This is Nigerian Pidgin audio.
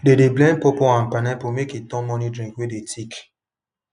they dey blend pawpaw and pineapple make e turn morning drink wey dey thick